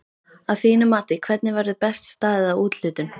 Að þínu mati hvernig verður best staðið að úthlutun?